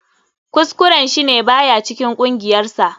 Kuskuren shi ne ba ya cikin kungiyarsa.